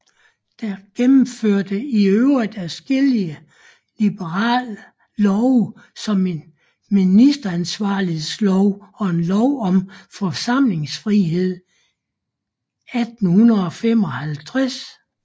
Det gennemførte i øvrigt adskillige liberale love som en ministeransvarlighedslov og en lov om forsamlingsfrihed 1855